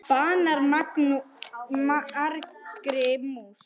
Banar margri mús